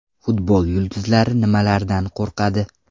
Futbol yulduzlari nimalardan qo‘rqadi?.